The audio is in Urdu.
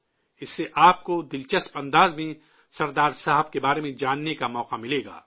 اس سے آپ کو دلچسپ انداز میں سردار صاحب کے بارےمیں جاننے کا موقع ملے گا